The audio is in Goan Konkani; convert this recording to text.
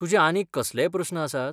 तुजे आनीक कसलेय प्रस्न आसात?